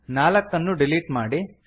ನಾಲ್ಕನ್ನು delete ಮಾಡಿ